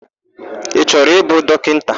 Ị chọrọ ịbụ dọkịta?